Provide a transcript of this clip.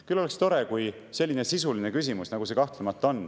Küll oleks tore, kui selline sisuline küsimus, nagu see siin kahtlemata on, oleks oluline.